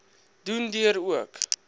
doen deur ook